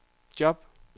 job